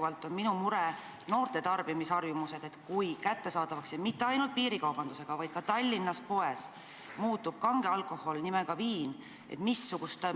Ja ikkagi on minu mure noorte tarbimisharjumused: kui kättesaadavaks – ma ei küsi seda ainult piirikaubandusega seoses – muutub näiteks Tallinna poodides kange alkohol nimega viin?